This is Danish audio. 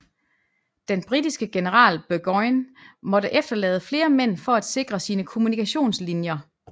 Den britiske general Burgoyne måtte efterlade flere mænd for at sikre sine kommunikationslinjer